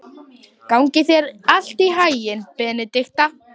Gangi þér allt í haginn, Benidikta.